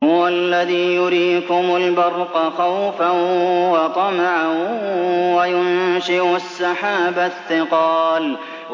هُوَ الَّذِي يُرِيكُمُ الْبَرْقَ خَوْفًا وَطَمَعًا وَيُنشِئُ السَّحَابَ الثِّقَالَ